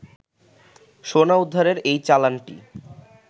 সোনা উদ্ধারের এই চালানটি